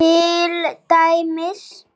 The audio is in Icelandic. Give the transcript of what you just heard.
Til dæmis